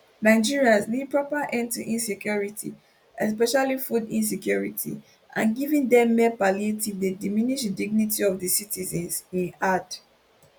nigerians need proper end to insecurity especially food insecurity an giving dem mere palliative dey diminish di dignity of citizens im add